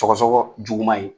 Sɔgɔsɔgɔ jugu ma ye.